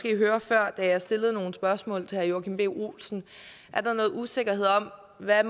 jeg høre før da jeg stillede nogle spørgsmål til herre joachim b olsen er der noget usikkerhed om hvad